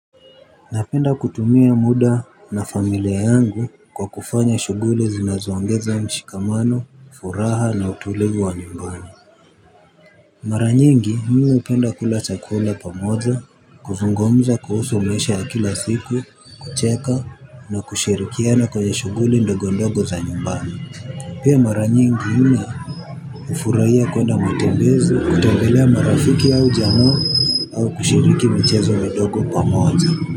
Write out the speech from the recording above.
Napenda kutumia muda na familia yangu kwa kufanya shughuli zinazoongeza mshikamano, furaha na utulivu wa nyumbani. Mara nyingi mimi hupenda kula chakula pamoja, kuzungumza kuhusu maisha ya kila siku, kucheka na kushirikiana kwenye shughuli ndogo ndogo za nyumbani. Pia mara nyingi mimi hufurahia kuenda matembezi, kutembelea marafiki au jamaa. Au kushiriki mchezo midogo pamoja.